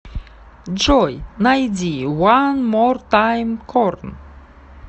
джой найди уан мор тайм корн